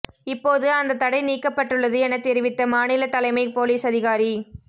இப்போது அந்தத் தடை நீக்கப்பட்டுள்ளது எனத் தெரிவித்த மாநிலத் தலைமைப் போலீஸ் அதிகாரி